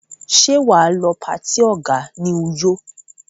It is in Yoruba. Ṣé wà á lọ patí ọ̀gá ní Uyo?